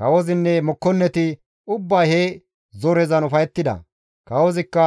Kawozinne mokkonneti ubbay he zorezan ufayettida; kawozikka